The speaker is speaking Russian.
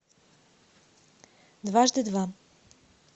дважды два